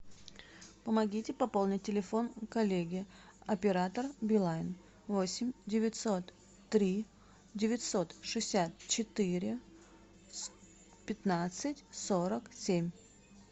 помогите пополнить телефон коллеги оператор билайн восемь девятьсот три девятьсот шестьдесят четыре пятнадцать сорок семь